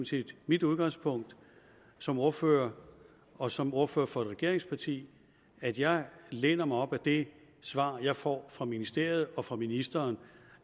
set mit udgangspunkt som ordfører og som ordfører for et regeringsparti at jeg læner mig op ad det svar jeg får fra ministeriet og fra ministeren